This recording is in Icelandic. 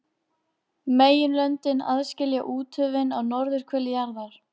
Allen verður líklega frá í nokkrar vikur.